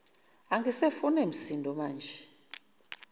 angisafune msindo maje